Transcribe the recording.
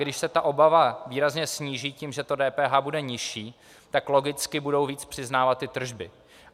Když se ta obava výrazně sníží tím, že to DPH bude nižší, tak logicky budou víc přiznávat ty tržby.